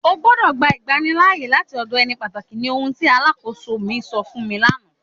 Ọ gbọdọ̀ gbà ìgbànlíààyè láti ọdọ̀ ènì pátákì ní ohùn tí aláḳọ̀sọ̀ mi sọ̀ fun mi lànà.